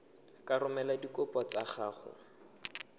ka romela dikopo tsa gago